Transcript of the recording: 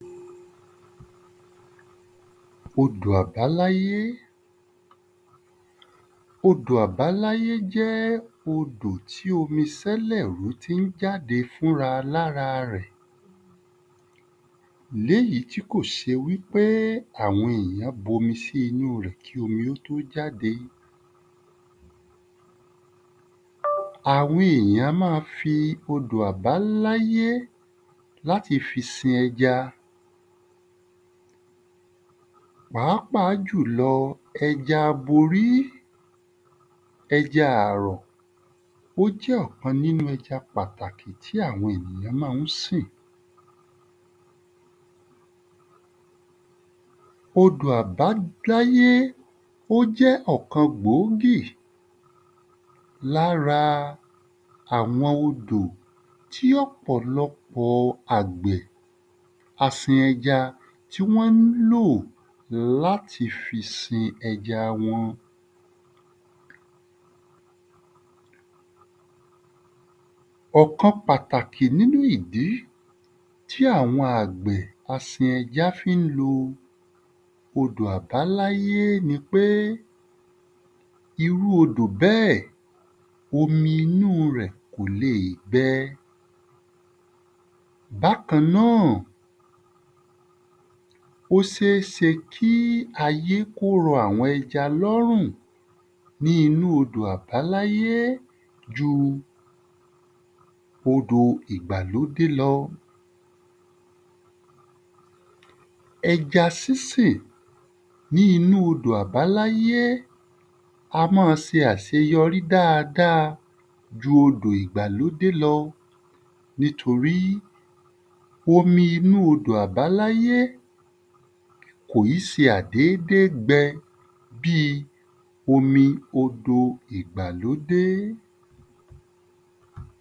Odò àbáláyé Odò àbáláyé jẹ́ odò tí omi sẹ́lẹ̀wú tí ń jáde fúnra l’ára rẹ̀. L’éyí tí kò se wí pé àwọn èyàn b’omi sí inú rẹ̀ kí omi ó t’ó jáde. Àwọn èyàn á má fi odò àbáláyé l’áti fi sin ẹja pàápàá jùlọ ẹja aborí Ẹja àrọ̀ ó jẹ́ ọ̀kan nínu ẹja pàtàkì tí àwọn èyàn má ń sìn. Odò àbáláyé ó jẹ́ ọ̀kan gboógì l’ára àwọn odò tí ọ̀pọ̀lọpọ̀ àgbẹ̀ asin ẹja tí wọ́n ń lò l’áti fi sin ẹja wọn Ọ̀kan pàtàkì n’ínú ìdí tí àwọn àgbẹ̀ asin ẹja tí wọ́n fí ń lo odò àbáláyé ni pé irú odò bẹ́ẹ̀, omi inú rẹ̀ kò le è gbẹ Bákan náà, ó sése kí ayé k’ó rọ àwọn ẹja l’órùn ní inú odò àbáláyé ju odò ìgbàlódé lọ. Ẹja sísìn ní inú odò àbáláyé Ẹja sísìn ní inú odò àbáláyé a má a se àseyọrí dáadáa nítorí omi inú odò àbáláyé kò í se àìdédé gbẹ. bíi omi odò ìgbàlódé.